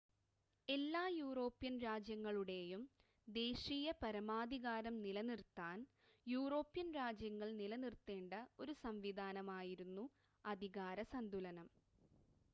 എല്ലാ യൂറോപ്യൻ രാജ്യങ്ങളുടെയും ദേശീയ പരമാധികാരം നിലനിർത്താൻ യൂറോപ്യൻ രാജ്യങ്ങൾ നിലനിർത്തേണ്ട ഒരു സംവിധാനമായിരുന്നു അധികാര സന്തുലനം